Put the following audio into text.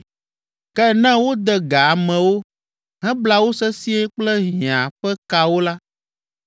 Ke ne wode ga amewo, hebla wo sesĩe kple hiã ƒe kawo la,